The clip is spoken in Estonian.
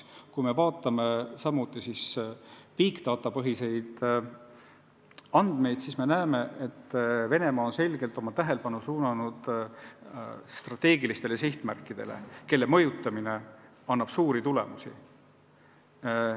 Kui me vaatame big data põhiseid andmeid, siis näeme, et Venemaa on selgelt oma tähelepanu koondanud strateegilistele sihtmärkidele, kelle mõjutamine annab märkimisväärseid tulemusi.